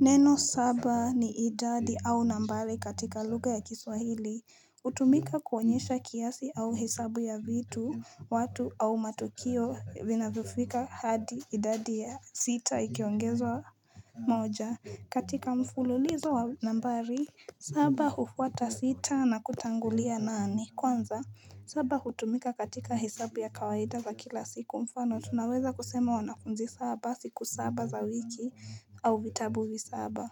Neno saba ni idadi au nambari katika lugha ya kiswahili Utumika kuonyesha kiasi au hesabu ya vitu, watu au matukio vinafufika hadi idadi ya sita ikiongezo wa moja katika mfululizo wa nambari saba hufwata sita na kutangulia nane Kwanza, saba utumika katika hisabu ya kawaida za kila siku Mfano tunaweza kusema wanakunzi saba siku saba za wiki au vitabui saba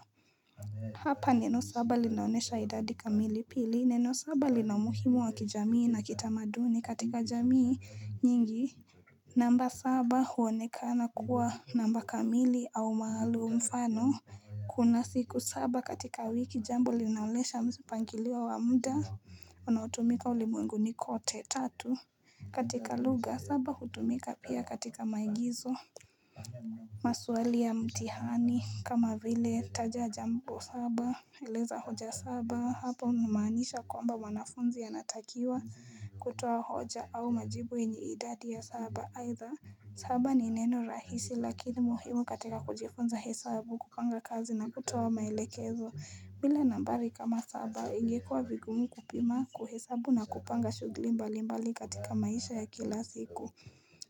Hapa neno saba linaonesha idadi kamili pili neno saba linamuhimu wa kijamii na kita maduni katika jamii nyingi namba saba huonekana kuwa namba kamili au maalum sana Kuna siku saba katika wiki jambo linaonesha msipangiliwa wa muda unautumika ulimwenguni kote. Tatu katika lugha saba hutumika pia katika maigizo maswali ya mtihani kama vile taja jambo saba Eleza hoja saba hapa unumanisha kwamba wanafunzi ya natakiwa kutoa hoja au majibu enyi idadi ya saba either saba ni neno rahisi lakini muhimu katika kujifunza hesabu kupanga kazi na kutoa mailekezo bila nambari kama saba ingekuwa vigumu kupima kuhesabu na kupanga shugli mbali mbali katika maisha ya kila siku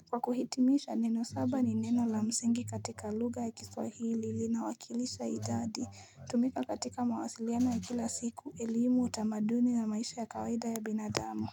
Kwa kuhitimisha neno saba ni neno la msingi katika luga ya kiswahili na wakilisha idadi tumika katika mawasiliana ya kila siku, ilimu, utamaduni na maisha ya kawaida ya binadamo.